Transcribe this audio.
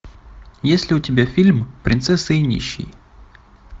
есть ли у тебя фильм принцесса и нищий